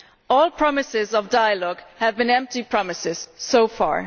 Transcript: All promises of dialogue have been empty promises so far.